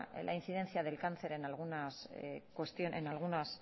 la incidencia del cáncer en algunos